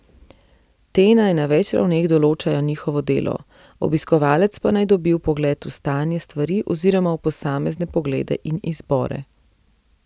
Te naj na več ravneh določajo njihovo delo, obiskovalec pa naj dobi vpogled v stanje stvari oziroma v posamezne poglede in izbore.